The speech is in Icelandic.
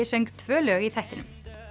söng tvö lög í þættinum